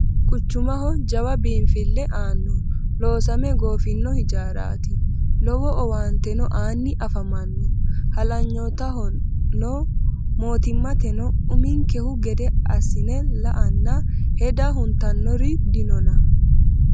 Quchumaho jawa biinfile aano loosame goofino hijaarati lowo owaanteno aani afamano halanyottahono mootimmateno uminkehu gede assine la"anna heda huntanori dinonna